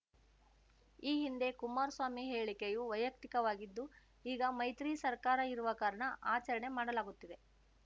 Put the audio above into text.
ಈ ಹಿಂದೆ ಕುಮಾರ್ ಸ್ವಾಮಿ ಹೇಳಿಕೆಯು ವೈಯಕ್ತಿಕವಾಗಿದ್ದು ಈಗ ಮೈತ್ರಿ ಸರ್ಕಾರ ಇರುವ ಕಾರಣ ಆಚರಣೆ ಮಾಡಲಾಗುತ್ತಿದೆ